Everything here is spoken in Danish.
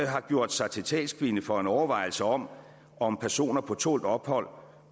har gjort sig til talskvinde for en overvejelse om om personer på tålt ophold